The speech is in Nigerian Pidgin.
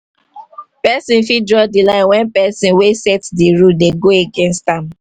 persin fit draw di line when persin wey set di rule dey go against am